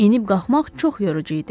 Enib qalxmaq çox yorucu idi.